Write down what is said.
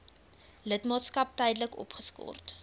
lidmaatskap tydelik opgeskort